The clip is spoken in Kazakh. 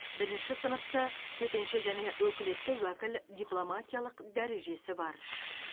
бірінші сыныпты төтенше және өкілетті уәкіл дипломатиялық дәрежесі бар